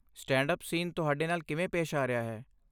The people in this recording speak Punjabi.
ਸਟੈਂਡ ਅੱਪ ਸੀਨ ਤੁਹਾਡੇ ਨਾਲ ਕਿਵੇਂ ਪੇਸ਼ ਆ ਰਿਹਾ ਹੈ?